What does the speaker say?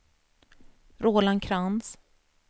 Roland Krantz